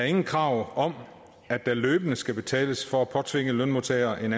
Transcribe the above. ingen krav om at der løbende skal betales for at påtvinge lønmodtagere en